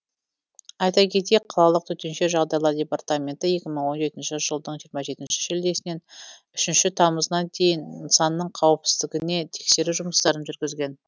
айта кетейік қалалық төтенше жағдайлар департаменті екі мың он жетінші жылдың жиырма жетінші шілдесінен үшінші тамызына дейін нысанның қауіпсіздігіне тексеру жұмыстарын жүргізген